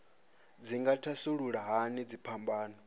dzi nga thasulula hani dziphambano